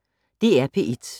DR P1